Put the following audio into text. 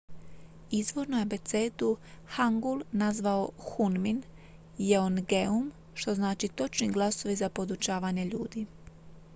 "izvorno je abecedu hangul nazvao hunmin jeongeum što znači "točni glasovi za podučavanje ljudi"".